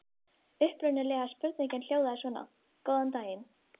Upprunalega spurningin hljóðaði svona: Góðan daginn!